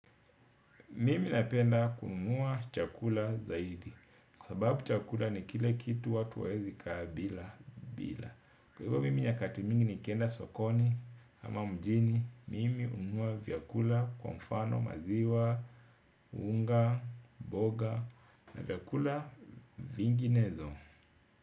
Mimi napenda kununua chakula zaidi. Kwa sababu chakula ni kile kitu watu wewezi kabila, bila. Kwa hivyo mimi nyakati mingi ni kenda sokoni ama mjini. Mimi hununua vyakula kwa mfano unga mboga na vyakula vinginevyo.